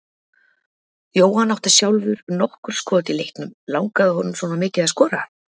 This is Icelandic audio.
Jóhann átti sjálfur nokkur skot í leiknum, langaði honum svona mikið að skora?